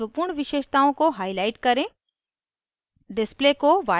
* अणु में महत्वपूर्ण विशेषताओं को highlight करें